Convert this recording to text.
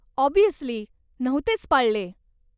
Obviously, नव्हतेच पाळले.